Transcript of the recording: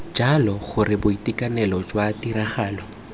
jalo gore boitekanelo jwa tiragalo